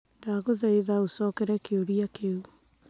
Ndagũthaitha ũcokere kĩũria kĩu